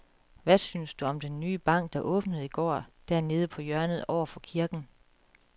Hvad synes du om den nye bank, der åbnede i går dernede på hjørnet over for kirken?